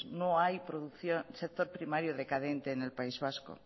no hay sector primario decadente en el país vasco